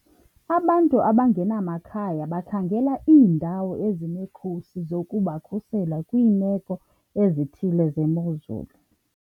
Abantu abangenamakhaya bakhangela iindawo ezinekhusi zokubakhusela kwiimeko ezithile zemozulu.